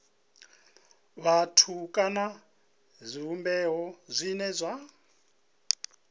vhathu kana zwivhumbeo zwine zwa